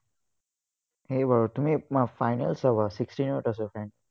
হেৰি বাৰু, তুমি এৰ final চাবা, sixteenth ত আছে, final